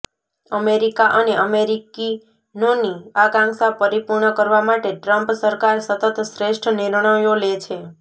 America અને અમેરિકીનોની આકાંક્ષા પરિપૂર્ણ કરવા માટે ટ્રમ્પ સરકાર સતત શ્રેષ્ઠ નિર્ણયો લે છે